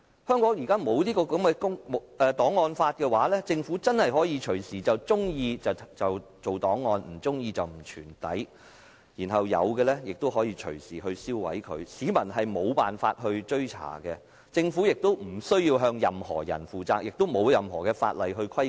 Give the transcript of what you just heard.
香港在沒有檔案法的情況下，政府真的隨時可以在喜歡時便建立檔案，不喜歡的話便不予保存，而一些現有的檔案亦可以隨時銷毀，市民根本無法追查，政府亦無須向任何人負責，亦不受任何法例規管。